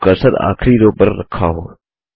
जब कर्सर आखिरी रो पर रखा हो